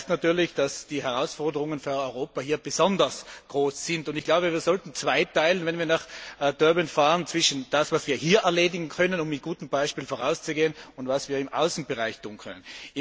Das heißt natürlich, dass die Herausforderungen für Europa hier besonders groß sind, und ich glaube, wir sollten, wenn wir nach Durban fahren, zweiteilen in das, was wir hier erledigen können, um mit gutem Beispiel voranzugehen, und das, was wir im Außenbereich tun können.